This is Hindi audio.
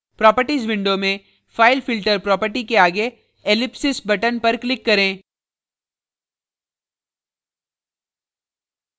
properties window में filefilter properties के आगे ellipsis button पर click करें